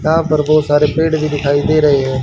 यहां पर बहुत सारे पेड़ भी दिखाई दे रे है।